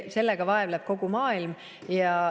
Sellega vaevleb kogu maailm.